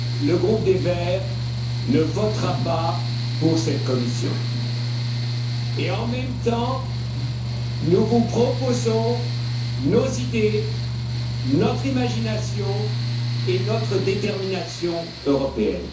le groupe des Verts ne votera pas pour cette Commission et, en même temps, nous vous proposons nos idées, notre imagination et notre détermination européennes.